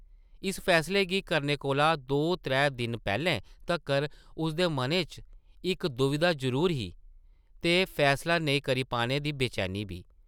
इस फैसले गी करने कोला दो त्रै दिन पैह्लें तक्कर उसदे मनै च इक दुविधा जरूर ही ते फैसला नेईं करी पाने दी बेचैनी बी ।